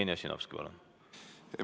Jevgeni Ossinovski, palun!